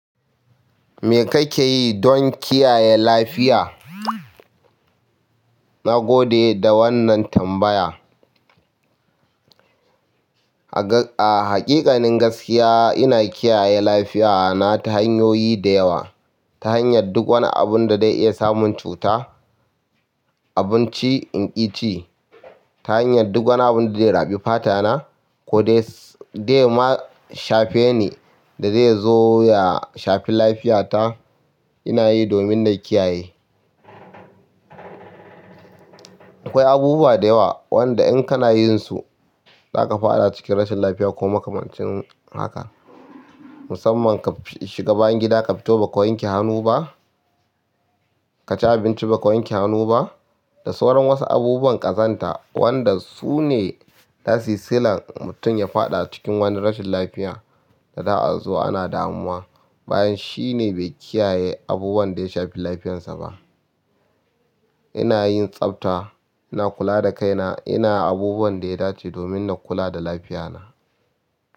Me kake yi don kiyaye lafiya? Na gode da wannan tambaya. A haƙiƙanin gaskiya ina kiyaye lafiya na ta hanyoyi da yawa. Ta hanyar duk wani abun da zai iya samun cuta, abinci in ki ci, ta hanyar duk wani abun da zai raɓi fata na ko dai zema shafe ni da zai zo ya shafi lafiyata ina yi domin na kiyaye. Akwai abubuwa da yawa wanda in kana yin su zaka faɗa cikin rashin lafiya ko makamancin haka. Musamman ka shiga bayan gida ka fito ba ka wanke hannu ba, ka ci abinci ba ka wanke hannu ba. Da sauran wasu abubuwan ƙazanta wanda su ne zasu yi sillan mutum ya faɗa cikin wani rashin lafiya da za a zo ana damuwa. Bayan shi ne bai kiyaye abubuwan da ya shafi lafiyansa ba. Ina yin tsafta, ina kula da kaina, ina abubuwan da ya dace domin na kula da lafiya na.